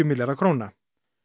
milljarða króna